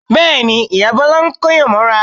Bẹ́ẹ̀ ni, ìyá Bọ́lá ń kóyàn mọ́ra